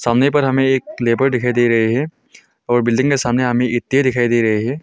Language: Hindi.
सामने पर हमें एक लेबर दिखाई दे रहे हैं और बिल्डिंग के सामने हमें ईंटे दिखाई दे रहे हैं।